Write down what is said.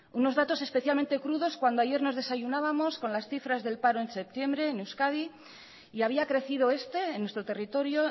unos datos especialmente crudos cuando ayer nos desayunábamos con las cifras del paro en septiembre en euskadi y había crecido este en nuestro territorio